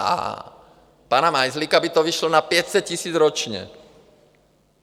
A pana Majzlíka by to vyšlo na 500 000 ročně.